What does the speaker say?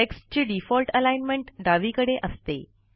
टेक्स्टची default alignment डावीकडे असते